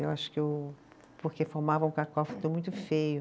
Eu acho que eu, porque formava um cacófato muito feio.